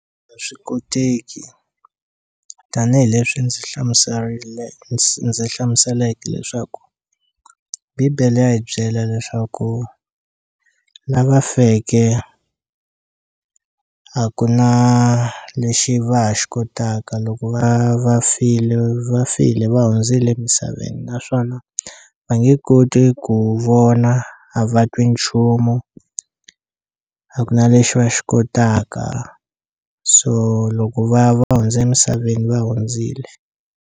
A swi koteki tanihileswi ndzi hlamuserile ndzi hlamuseleke leswaku bibele ya hi byela leswaku lava feke a ku na lexi va ha xi kotaka loko va va file va file va hundzile emisaveni naswona va nge koti ku vona a va twi nchumu a ku na lexi va xi kotaka so loko va ya va hundza emisaveni va hundzile.